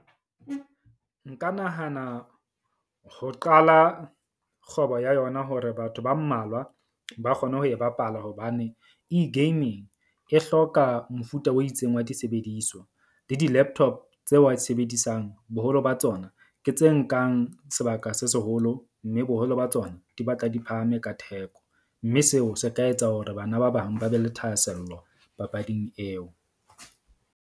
Nka nahana ho qala kgwebo ya yona hore batho ba mmalwa ba kgone ho e bapala. Hobane eGaming e hloka mofuta o itseng wa disebediswa le di-laptop tseo wa di sebedisang, boholo ba tsona ke tse nkang sebaka se seholo. Mme boholo ba tsona di batla di phahame ka theko. Mme seo se ka etsa hore bana ba bang ba be le thahasello papading eo.